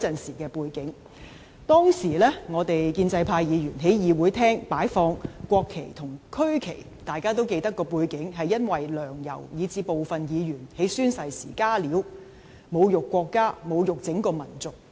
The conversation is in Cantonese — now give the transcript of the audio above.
大家均記得，當時我們建制派議員在會議廳擺放國旗及區旗的背景，是因為"梁、游"以至部分議員在宣誓時"加料"，侮辱國家及整個民族。